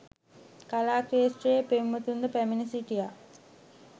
කලා ක්‍රේෂ්ත්‍රයේ පෙම්වතුන්ද පැමිණ සිටියා